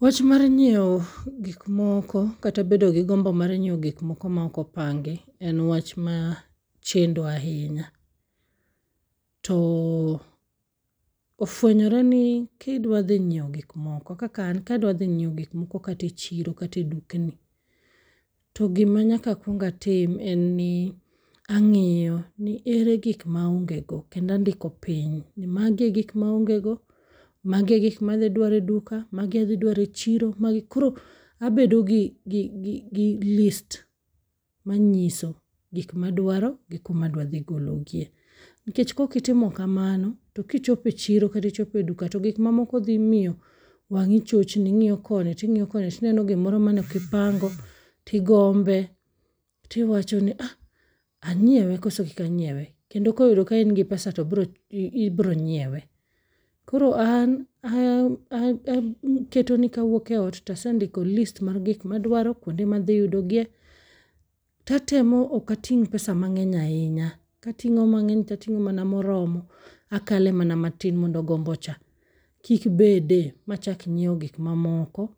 Wach mar nyiewo gik moko kata bedo gi gombo mar nyiewo gik moko maok opangi en wach ma chendo ahinya. To ofwenyore ni kidwa dhi nyiewo gik moko, kaka an kadwa dhi nyiewo gik moko kata e chiro kata e dukni. To gima nyaka akwongatim en ni ang'iyo ni ere gikma aonge go kendo andiko piny ni magi e gik maonge go, magi e gik ma adhi dwaro e duka magi adhi dwaro e chiro, magi. Koro abedo gi list manyiso gikmadwaro gi kumadwa dhi gologie. Nikech kokitimo kamano, to kichope chiro kata ichope duka to gik mamoko dhi miyo wang'i chochni ing'iyo koni ting'iyo koni tino gimoro mane ok ipango. Tigombe, tiwacho ni ah, anyiewe koso kik anyiewe. Kendo koyudo kain gi pesa to ibiro nyiewe. Koro an uh aketo ni kapok awuok eot tasendiko list mar gik madwaro, kwonde madhi yudogie, tatemo ok ating' pesa mang'eny ahinya. Kating'o mang'eny tating'o mana moromo akale mana matin mondo gombocha kik bede machak nyiewo gik mamoko